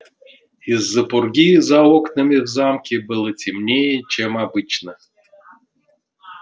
из-за пурги за окнами в замке было темнее чем обычно